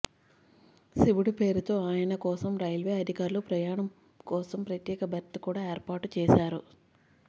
శివుడి పేరుతో ఆయన కోసం రైల్వే అధికారులు ప్రయాణం కోసం ప్రత్యేక బెర్త్ కూడా ఏర్పాటు చేశారు